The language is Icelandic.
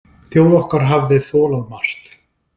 Þjóð okkar hafði þolað margt.